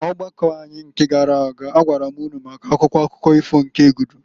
N'ọgbakọ anyị nke gara aga agwara m ụnụ maka Akwụkwọ akụkọ ifo nke Egudu.